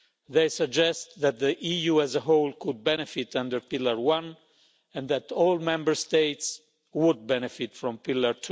They suggest that the EU as a whole could benefit under Pillar 1 and that all Member States would benefit from Pillar